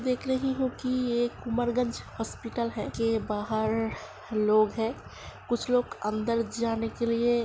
देख रही हूं कि ये एक उमरगंज हॉस्पिटल है। के बाहर लोग हैं कुछ लोग अंदर जाने के लिए --